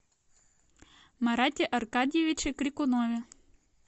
марате аркадьевиче крикунове